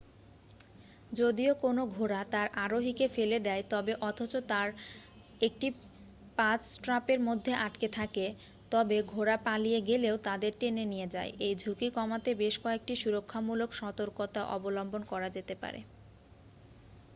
যদি কোনও ঘোড়া তার আরোহীকে ফেলে দেয় তবে অথচ তার একটি পায স্ট্রাপের মধ্যে আটকে থাকে তবে ঘোড়া পালিয়ে গেলেও তাঁদের টেনে নিয়ে যায় এই ঝুঁকি কমাতে বেশ কয়েকটি সুরক্ষামূলক সতর্কতা অবলম্বন করা যেতে পারে